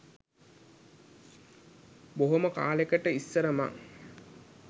බොහොම කාලෙකට ඉස්සර මං